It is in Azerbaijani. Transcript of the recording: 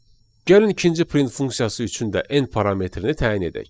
Gəlin ikinci print funksiyası üçün də n parametrini təyin edək.